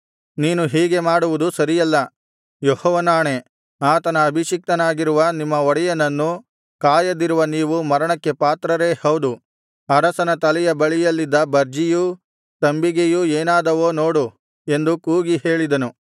ನೀನು ಹೀಗೆ ಮಾಡುವುದು ಸರಿಯಲ್ಲ ಯೆಹೋವನಾಣೆ ಆತನ ಅಭಿಷಿಕ್ತನಾಗಿರುವ ನಿಮ್ಮ ಒಡೆಯನನ್ನು ಕಾಯದಿರುವ ನೀವು ಮರಣಕ್ಕೆ ಪಾತ್ರರೇ ಹೌದು ಅರಸನ ತಲೆಯ ಬಳಿಯಲ್ಲಿದ್ದ ಬರ್ಜಿಯೂ ತಂಬಿಗೆಯೂ ಏನಾದವೋ ನೋಡು ಎಂದು ಕೂಗಿ ಹೇಳಿದನು